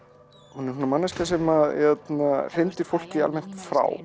hún er svona manneskja sem hrindir fólki almennt frá